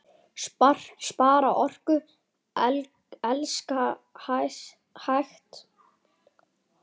Spara orku. elskast hægt!